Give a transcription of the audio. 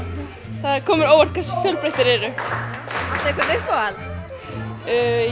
það kom mér á óvart hversu fjölbreyttir þeir eru áttu uppáhalds